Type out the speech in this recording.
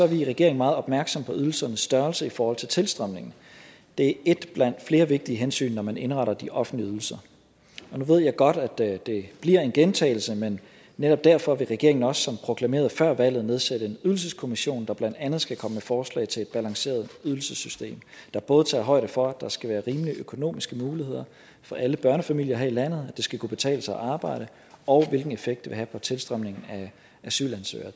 vi i regeringen meget opmærksomme på ydelsernes størrelse i forhold til tilstrømningen det er et blandt flere vigtige hensyn når man indretter de offentlige ydelser og nu ved jeg godt at det bliver en gentagelse men netop derfor vil regeringen også som proklameret før valget nedsætte en ydelseskommission der blandt andet skal komme med forslag til et balanceret ydelsessystem der både tager højde for at der skal være rimelige økonomiske muligheder for alle børnefamilier her i landet at det skal kunne betale sig at arbejde og hvilken effekt det vil have på tilstrømningen af asylansøgere